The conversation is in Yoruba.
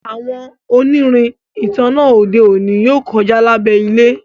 àwọn onirin ìtanná ode òní yóò kọja lábé ilẹ